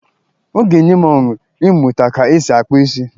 Ọ ga-enye m ọṅụ ịmụta ka e si akpa isi.